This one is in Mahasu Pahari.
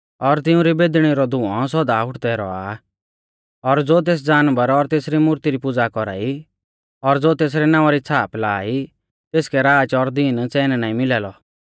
और तिउंरी बेदणी रौ धुंऔ सौदा उठदै रौआ आ और ज़ो तेस जानवर और तेसरी मूर्ती री पुज़ा कौरा ई और ज़ो तेसरै नावां री छ़ाप लाआ ई तेसकै राच और दीन च़ैन नाईं मिला लौ